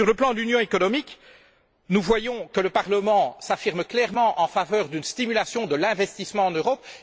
Sur le plan de l'union économique, nous voyons que le Parlement s'affirme clairement en faveur d'une stimulation de l'investissement en Europe.